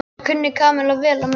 Það kunni Kamilla vel að meta.